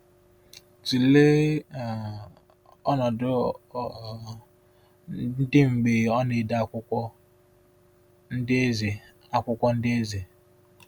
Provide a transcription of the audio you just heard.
Tụlee um ọnọdụ ọ um dị mgbe ọ na-ede akwụkwọ Ndị Eze. akwụkwọ Ndị Eze.